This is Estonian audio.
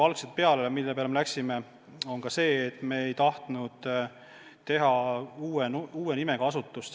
Mille peale me algselt läksime, on ka see, et me ei tahtnud teha uue nimega asutust.